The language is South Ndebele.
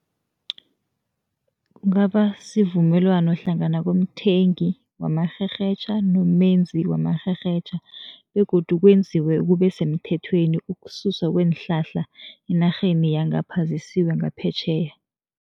Kungaba sivumelwano hlangana komthengi wamarherhetjha nomebenzi wamarherhetjha begodu kwenziwe kube semthethweni ukususa kweenhlahla enarheni yangapha, zisiwe ngaphetjheya.